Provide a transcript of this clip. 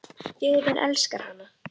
Þjóðin elskar hana.